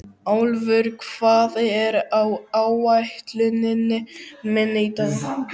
Álfur, hvað er á áætluninni minni í dag?